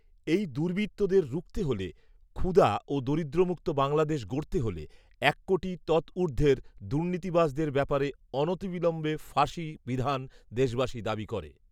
এই দুর্বৃত্তদের রুখতে হলে, ক্ষুদা ও দরিদ্রমুক্ত বাংলাদেশ গড়তে হলে, এক কোটি তৎঊর্ধ্বের দুর্নীতিবাজদের ব্যাপারে অনতিবিলম্বে ফাঁসি বিধান দেশবাসী দাবি করে